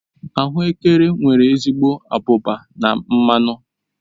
Ahuekere nwere ezigbo abụba na mmanụ